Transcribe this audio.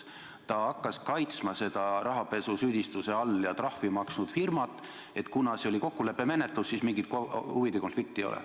Ta hakkas kaitsma seda rahapesusüüdistuse all olevat ja trahvi maksnud firmat, et kuna see oli kokkuleppemenetlus, siis mingit huvide konflikti ei ole.